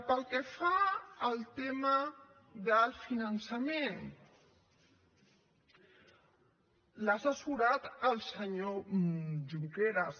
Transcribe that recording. pel que fa al tema del finançament l’ha assessorat el senyor junqueras